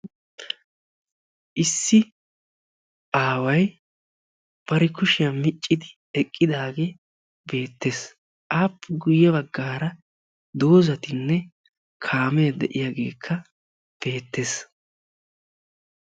issi aaway bari kushiya miccidi eqqidaage beettes. aappe guyye baggaara dozzatinne kaamee de'iyageekka beettes.